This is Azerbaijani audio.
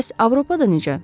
Bəs Avropada necə?